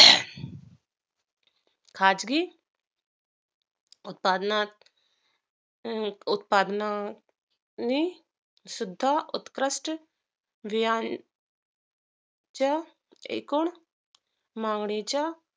खाजगी उत्पादना उत्पादना नी सुद्धा उत्कृष्ट रियान च्या एकूण मागणीच्या